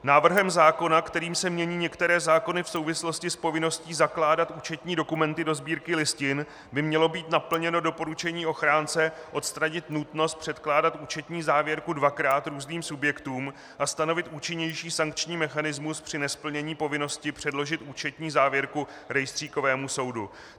Návrhem zákona, kterým se mění některé zákony v souvislosti s povinností zakládat účetní dokumenty do Sbírky listin, by mělo být naplněno doporučení ochránce odstranit nutnost předkládat účetní závěrku dvakrát různým subjektům a stanovit účinnější sankční mechanismus při nesplnění povinnosti předložit účetní závěrku rejstříkovému soudu.